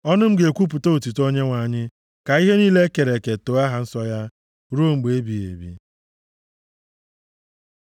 Ọnụ m ga-ekwupụta otuto Onyenwe anyị; ka ihe niile e kere eke too aha nsọ ya ruo mgbe ebighị ebi.